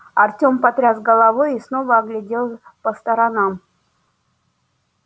артем потряс головой и снова оглядел по сторонам